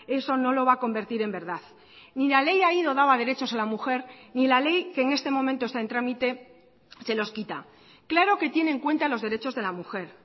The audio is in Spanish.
eso no lo va a convertir en verdad ni la ley aído daba derechos a la mujer ni la ley que en este momento está en trámite se los quita claro que tiene en cuenta los derechos de la mujer